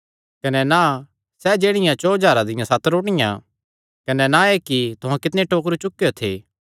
कने ना सैह़ जेह्ड़ियां चौं हज़ारां दियां सत रोटियां कने ना एह़ कि तुहां कितणे टोकरु चुकेयो थे